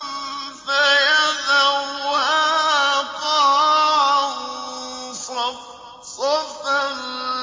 فَيَذَرُهَا قَاعًا صَفْصَفًا